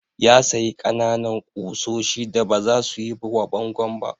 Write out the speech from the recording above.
Ya sayi ƙananan ƙusoshi da baza su yi wa bangon ba.